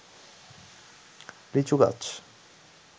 লিচু গাছ